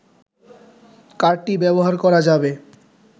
কার্ডটি ব্যবহার করা যাবে